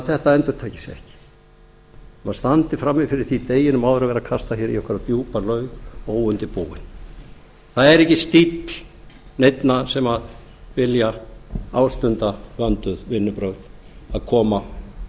þetta endurtaki sig ekki að maður standi fyrir því deginum áður að vera kastað hér í einhverja djúpa laug óundirbúinn það er ekki stíll neinna sem vilja ástunda vönduð vinnubrögð að koma